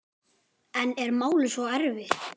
En er málið svo einfalt?